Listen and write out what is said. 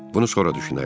bunu sonra düşünərik.